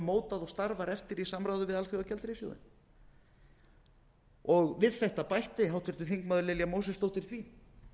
mótað og starfar eftir í samráði við alþjóðagjaldeyrissjóðinn við þetta bætti háttvirtir þingmenn lilja mósesdóttir því